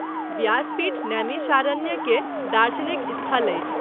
व्यासपीठ नैमिषारण्य के दार्शनिक स्थल अछि।